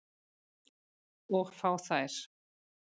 Og fá þær.